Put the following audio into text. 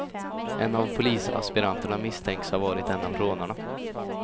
En av polisaspiranterna misstänks ha varit en av rånarna.